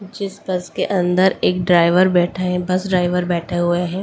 इस बस के अंदर एक ड्राइवर बैठा है बस ड्राइवर बैठे हुए हैं।